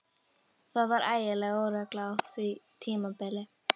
Það var ægileg óregla á því tímabili.